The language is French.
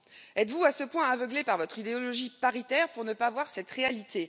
Êtes vous à ce point aveuglés par votre idéologie paritaire pour ne pas voir cette réalité?